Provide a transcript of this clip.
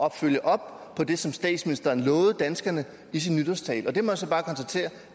at følge op på det som statsministeren lovede danskerne i sin nytårstale